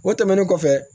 O tɛmɛnen kɔfɛ